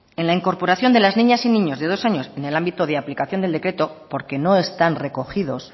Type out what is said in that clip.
en la incorporación de las niñas y niños de dos años en el ámbito de aplicación del decreto porque no están recogidos